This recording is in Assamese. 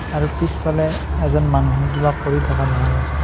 আৰু পিছফালে এজন মানুহে কিবা কৰি থকা দেখা গৈছে।